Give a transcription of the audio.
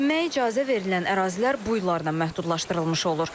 Çimməyə icazə verilən ərazilər bu illərnən məhdudlaşdırılmış olur.